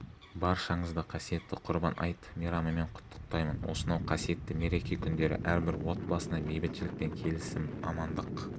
баршаңызды қасиетті құрбан айт мейрамымен құттықтаймын осынау қасиетті мереке күндері әрбір отбасына бейбітшілік пен келісім амандық